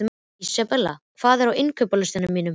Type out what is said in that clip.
Isabella, hvað er á innkaupalistanum mínum?